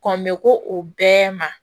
Kɔn me ko o bɛɛ ma